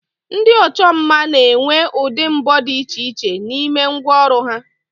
Ndi ocho mma n'enwe udi mbo di iche iche n'ime ngwa oru ha